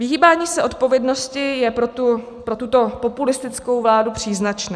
Vyhýbání se odpovědnosti je pro tuto populistickou vládu příznačné.